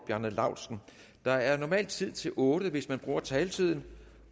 bjarne laustsen der er normalt tid til otte spørgere hvis man bruger taletiden